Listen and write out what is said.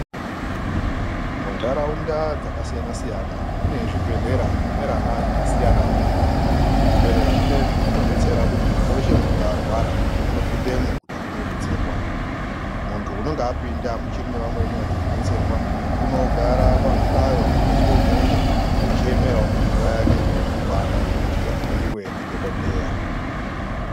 Muntaraunda dzakasiyana-siyana mune zvibhedhlera zvemwerana yakasiyanavo. Zvibhedhlera zvinoizvi zvinobetsera kuti muntu veshe unonga arwara unopindemwo kuti akone kubetserwa. Muntu unonga apinda uchirine amweni achiri kubetsera unogara pazvihlayo zvakaiswa imwomwo zvichiemeravo nguva yake ikone kukwana yekuti ahloiwe ndidhogodheya.